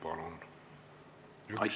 Palun!